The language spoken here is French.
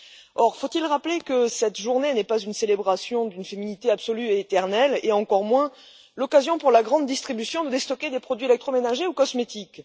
Or, faut il rappeler que cette journée n'est pas une célébration d'une féminité absolue et éternelle, et encore moins l'occasion pour la grande distribution de déstocker des produits électroménagers ou cosmétiques?